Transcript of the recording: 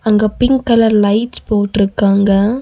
அங்க pink colour lights போட்டிருக்காங்க.